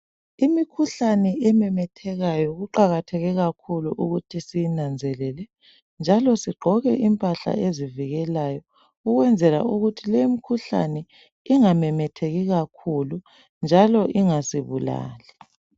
Imikhuhlane ememethekayo kuqakatheke kakhulu ukuthi siyinanzelele njalo sigqoke impahla ezivikelayo ukwenzela ukuthi lemikhuhlane ingamemetheki kakhulu njalo ingasibulali.